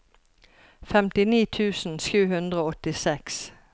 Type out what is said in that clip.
femtini tusen sju hundre og åttiseks